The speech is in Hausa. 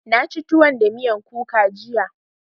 Na ci tuwo da miyan kuka jiya.